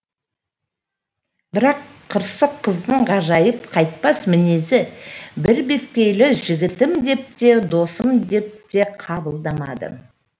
бірақ қырсық қыздың ғажайып қайтпас мінезі бірбеткейлігі жігітім деп те досым деп те қабылдамады